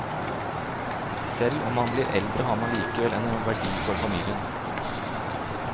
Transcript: Selv om man blir eldre har man likevel en verdi for familien.